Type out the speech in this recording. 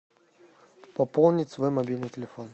пополнить свой мобильный телефон